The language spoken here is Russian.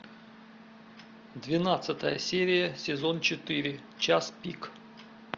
двенадцатая серия сезон четыре час пик